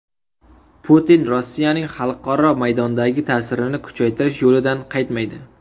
Putin Rossiyaning xalqaro maydondagi ta’sirini kuchaytirish yo‘lidan qaytmaydi.